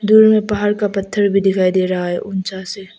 शुरू में पहाड़ का पत्थर भी दिखाई दे रहा है ऊंचा से।